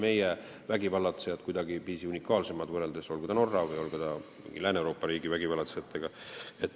Meie vägivallatsejad ei ole kuidagiviisi unikaalsed, võrreldes Norra või mingi Lääne-Euroopa riigi vägivallatsejatega.